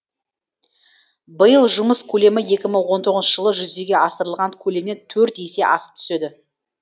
биыл жұмыс көлемі екі мың он тоғызыншы жылы жүзеге асырылған көлемнен төрт есе асып түседі